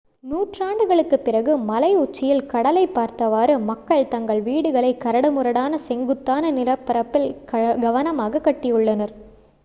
நூற்றாண்டுகளுக்கு பிறகு மலை உச்சியில் கடலைப் பார்த்தவாறு மக்கள் தங்கள் வீடுகளை கரடுமுரடான செங்குத்தான நிலப்பரப்பில் கவனமாக கட்டியுள்ளனர்